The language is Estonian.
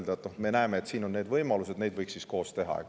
Nad võiksid öelda: "Me näeme, et siin on sellised võimalused, neid võiks koos teha.